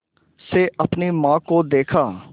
से अपनी माँ को देखा